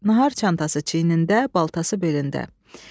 Nahar çantası çiynində, baltası belində.